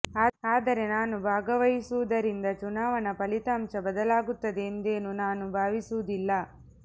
ಆದರೆ ನಾನು ಭಾಗ ವಹಿಸುವುದರಿಂದ ಚುನಾವಣಾ ಫಲಿತಾಂಶ ಬದಲಾಗುತ್ತದೆ ಎಂದೇನೂ ನಾನು ಭಾವಿಸುವುದಿಲ್ಲ